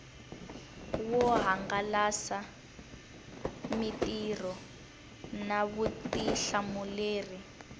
swo hangalasa mitirho na vutihlamuleri